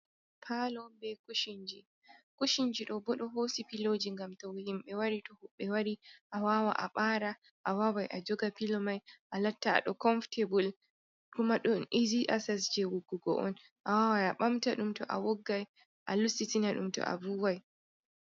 Palo be kushinji kushinji ɗo boɗo hosi piloji gam tow himbe wari to huɓɓe wari a wawa a ɓara a wawai a joga pilo mai a latta a do konfotebul kuma don izi asas je wuggugo on a waway a bamta dum to a woggai a lustitina dum to a vuwai.